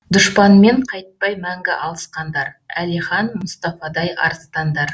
дұшпанмен қайтпай мәңгі алысқандар әлихан мұстафадай арыстандар